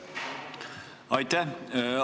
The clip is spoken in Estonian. Aitäh!